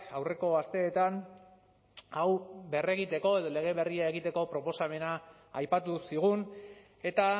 aurreko asteetan hau berregiteko edo lege berria egiteko proposamena aipatu zigun eta